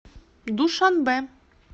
душанбе